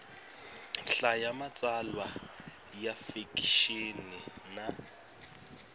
hlaya matsalwa ya fikixini na